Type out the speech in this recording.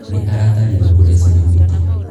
Nĩ aratarirwo kũrĩa cumbĩ mwĩngĩ.